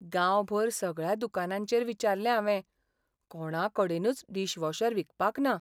गांवभर सगळ्या दुकानांचेर विचारले हांवें, कोणाकडेनूच डिशवॉशर विकपाक ना .